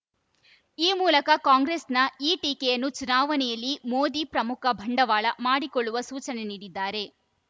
ಈ ಮೂಲಕ ಕಾಂಗ್ರೆಸ್‌ನ ಈ ಟೀಕೆಯನ್ನು ಚುನಾವಣೆಯಲ್ಲಿ ಮೋದಿ ಪ್ರಮುಖ ಬಂಡವಾಳ ಮಾಡಿಕೊಳ್ಳುವ ಸೂಚನೆ ನೀಡಿದ್ದಾರೆ